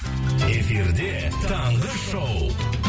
эфирде таңғы шоу